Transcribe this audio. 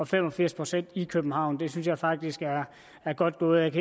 fem og firs procent i københavn det synes jeg faktisk er godt gået